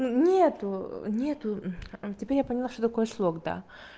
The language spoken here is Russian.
нету нету а теперь я поняла что такое слог да